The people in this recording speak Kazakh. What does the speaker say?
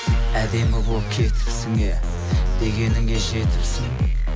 әдемі болып кетіпсің иә дегеніңе жетіпсің